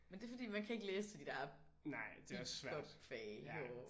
Men det er fordi man kan ikke læse til de der bip bop fag herovre